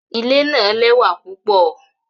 Ile naa lẹwa pupọ